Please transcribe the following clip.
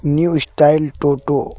New style toto.